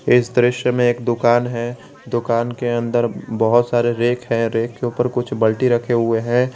इस दृश्य में एक दुकान है दुकान के अंदर बहोत सारे रेक हैं रेक के ऊपर कुछ बाल्टी रखे हुए है।